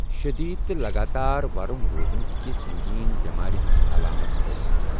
شٔدیٖد تہٕ لَگاتار ورُم روزُن ہٮ۪کہِ سنٛگیٖن یٮ۪مارِ ہنز علامت ٲسِتھ۔